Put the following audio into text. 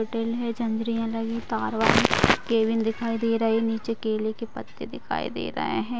तार वाली केबिन दिखाई दे रही है निचे केले के पत्ते दिखाई दे रहे है ।